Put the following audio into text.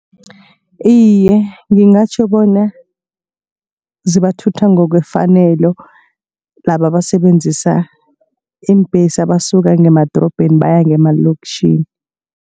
Iye, ngingatjho bonyana zibathutha ngokwefanelo laba abasebenzisa iimbhesi abasuka ngemadorobheni baya ngemalokitjhini